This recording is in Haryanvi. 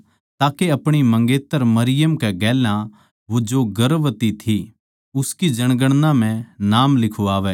के अपणी मंगेतर मरियम कै गेल्या जो गर्भवती थी उस जनगणना म्ह नाम लिखवावै